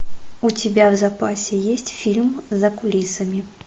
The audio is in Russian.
у тебя в запасе есть фильм за кулисами